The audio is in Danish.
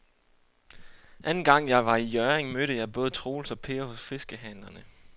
Anden gang jeg var i Hjørring, mødte jeg både Troels og Per hos fiskehandlerne.